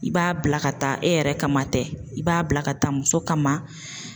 I b'a bila ka taa e yɛrɛ kama dɛ i b'a bila ka taa muso kama.